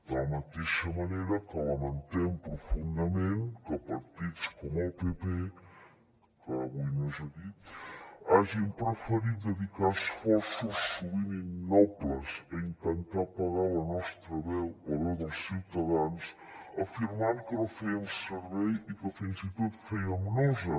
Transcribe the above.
de la mateixa manera que lamentem profundament que partits com el pp que avui no és aquí hagin preferit dedicar esforços sovint innobles a intentar apagar la nostra veu la veu dels ciutadans afirmant que no fèiem servei i que fins i tot fèiem nosa